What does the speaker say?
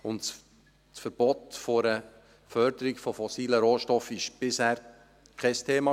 Das Verbot der Förderung von fossilen Rohstoffen war bisher kein Thema.